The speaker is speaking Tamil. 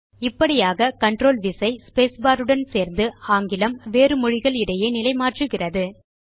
இப்படியாக கன்ட்ரோல் விசை ஸ்பேஸ் பார் உடன் சேர்ந்து ஆங்கிலம் வேறு மொழிகள் இடையே நிலை மாற்றுகிறது